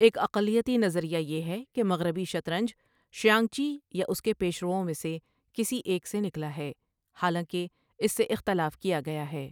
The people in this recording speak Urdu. ایک اقلیتی نظریہ یہ ہے کہ مغربی شطرنج شیانگچی یا اس کے پیشروؤں میں سے کسی ایک سے نکلا ہے، حالانکہ اس سے اختلاف کیا گیا ہے۔